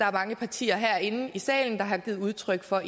er mange partier herinde i salen der har givet udtryk for